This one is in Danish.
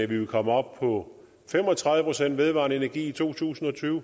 ville komme op på fem og tredive procent vedvarende energi i to tusind og tyve